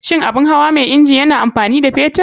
Shin abun hawa mai inji yana amfani da fetur?